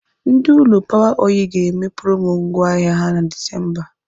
Ndị ụlọ Power oil ga-eme promo ngwá ahịa ha na Disemba.